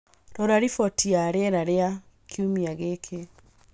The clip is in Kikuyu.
rora riboti ya rĩera rĩa kiumia gĩkĩ